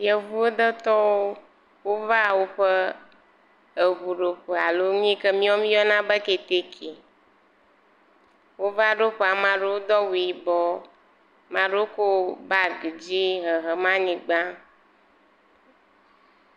Yevuwo detɔwo wova woƒe eŋuɖoƒe alo nu yi ke miawo míeyɔna be keteke. Wova ɖo ƒe, amaa ɖewo do awu yibɔɔ. Maa ɖewo kɔ baagi dzɛ̃ɛ̃ hehem anyigba